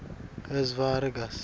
kanye nekutsi ngabe